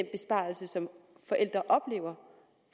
besparelser som forældre oplever